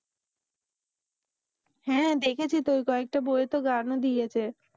হ্যাঁ দেখেছি তো ঐ কয়েকটা বইতে গান ও দিয়েছে।